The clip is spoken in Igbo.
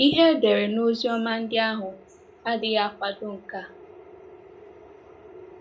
Ihe edere n' Oziọma ndị ahụ adịghị akwado nke a.